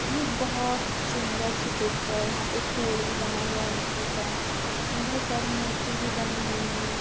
ये बहुत सुंदर सी पिक है यहां पे एक पेड़ भी बना हुआ है मिट्टी का एंड बहुत सारी मूर्ति भी बनी हुई है।